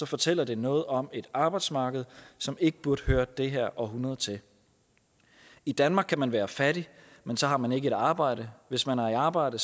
fortæller det noget om et arbejdsmarked som ikke burde høre det her århundrede til i danmark kan man være fattig men så har man ikke et arbejde hvis man er i arbejde